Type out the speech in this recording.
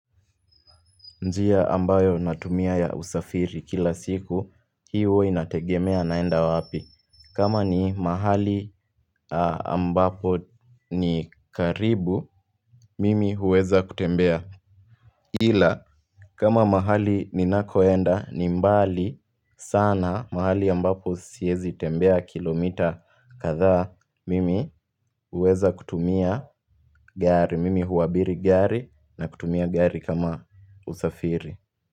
Njia ambayo natumia ya usafiri kila siku hii huwa inategemea naenda wapi. Kama ni mahali ambapo ni karibu mimi huweza kutembea. Ila kama mahali ninakoenda ni mbali sana mahali ambapo siezi tembea kilomita katha mimi huweza kutumia gari mimi huabiri gari na kutumia gari kama usafiri.